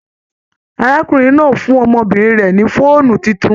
Arákùnrin náà fún ọmọbìnrin rẹ ni fóònù títún.